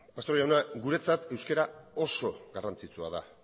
pastor jauna guretzat euskara oso garrantzitsua da